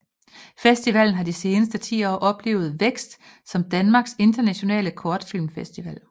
Festivalen har de seneste 10 år oplevet vækst som Danmarks internationale kortfilmfestival